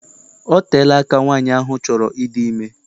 Ọ teela aka nwaanyị ahụ chọrọ ịdị ime.